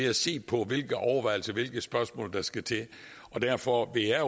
at se på hvilke overvejelser og hvilke spørgsmål der skal til og derfor vil jeg